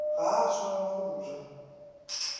ga a swanela go ja